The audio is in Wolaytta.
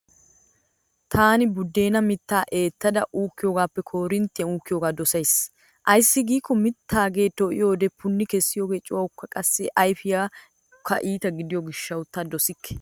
Taani buuddeenaa mittaa eettada uukkiyoogaappe koorinttiyaan uukkiyoogaa dosays. Ayssi giikko mittaagee to"iyoodee punni kessiyoogee cuwaykka qassi ayfiyassi iita gidiyoo gishshawu ta dosikke.